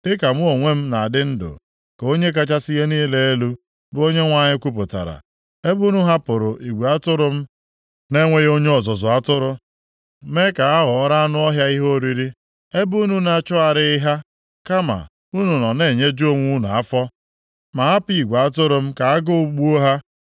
Dịka mụ onwe m na-adị ndụ, ka Onye kachasị ihe niile elu, bụ Onyenwe anyị kwupụtara, ebe unu hapụrụ igwe atụrụ m na-enweghị onye ọzụzụ atụrụ, mee ka ha ghọọrọ anụ ọhịa ihe oriri, ebe unu na-achọgharịghị ha, kama unu nọ na-enyeju onwe unu afọ, ma hapụ igwe atụrụ m ka agụụ gbuo ha,